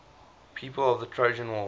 people of the trojan war